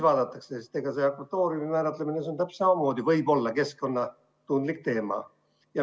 Akvatooriumi määratlemine võib samamoodi olla keskkonnatundlik teema.